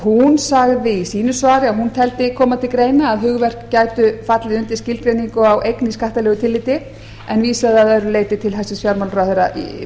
hún sagði í sínu svari að hún teldi koma til greina að hugverk gætu fallið undir skilgreiningu á eign í skattalegu tilliti en vísaði að öðru leyti til hæstvirts